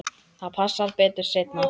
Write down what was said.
Það passar betur seinna.